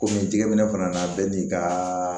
Komi n tigɛminɛ fana bɛɛ n'i ka